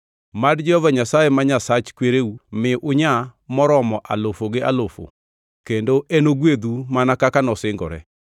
Mad Jehova Nyasaye ma Nyasach kwereu mi unyaa moromo alufu gi alufu kendo enogwedhu mana kaka nosingore.